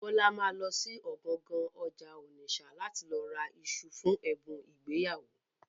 Bọ́lá ma lọ sí ọ̀gangan ọjà Ònìṣà láti lọ ra iṣu fún ẹ̀bùn ìgbéyàwó.